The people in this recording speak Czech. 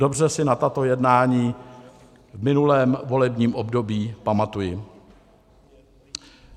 Dobře si na tato jednání v minulém volebním období pamatuji.